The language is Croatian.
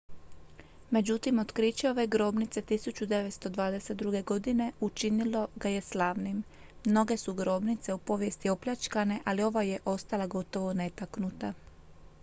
međutim otkriće ove grobnice 1922. godine učinilo ga je slavnim mnoge su grobnice u povijesti opljačkane ali ova je ostala gotovo netaknuta